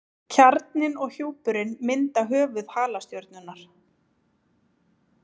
Kjarninn og hjúpurinn mynda höfuð halastjörnunnar.